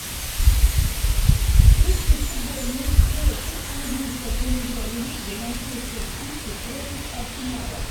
включи футбольную встречу английской премьер лиги манчестер сити против арсенала